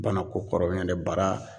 Bana ko kɔrɔ ɲɔn tɛ bara